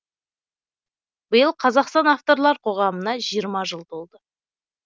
биыл қазақстан авторлар қоғамына жиырма жыл толды